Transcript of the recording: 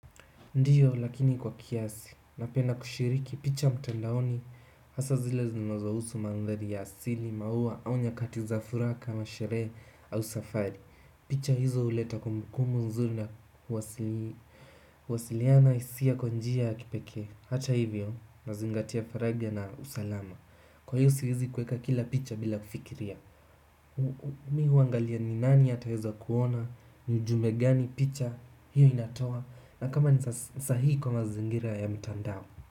Ndiyo lakini kwa kiasi, napenda kushiriki picha mtandaoni, hasa zile zinazohusu mandhari ya asili, maua, au nyakati za furaha kama sherehe, au safari picha hizo huleta kumbukumbu nzuri na huwasiliana hisia kwa njia ya kipekee hata hivyo, nazingatia faragha na usalama kwa hivyo siwezi kuweka kila picha bila kufikiria mi huangalia ni nani ataweza kuona, ni ujumbe gani picha, hiyo inatoa na kama ni sahihi kwa mazingira ya mtandao.